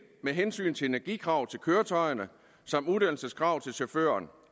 med hensyn til energikrav til køretøjerne som uddannelseskrav til chaufførerne